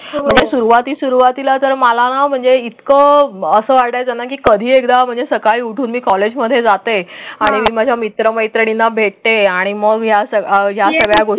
ही सुरुवाती सुरुवातीला तर मला ना म्हणजे इतकं असं वाटायचं की कधी एकदा म्हणजे सकाळी उठून कॉलेजमध्ये जाते आणि माझ्या मित्रमैत्रिणींना भेटते. आणि मग या सगळ्या गोष्टी.